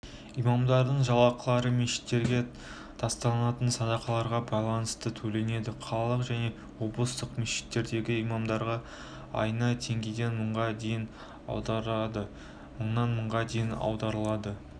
имамдардың жалақылары мешіттерге тасталынатын садақаларға байланысты төленеді қалалық және облыстық мешітттердегі имамдарға айына теңгеден мыңға дейін аудандарда мыңнан мыңға дейін ауылдарда